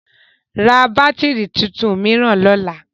Ra bátìrì tuntun mìíràn lọ́la!